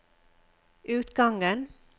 utgangen